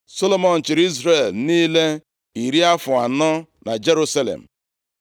Solomọn chịrị Izrel niile iri afọ anọ na Jerusalem.